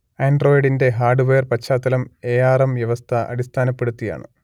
ആൻഡ്രോയ്ഡിന്റെ hardware പശ്ചാത്തലം A R M വ്യവസ്ഥ അടിസ്ഥാനപ്പെടുത്തിയാണ്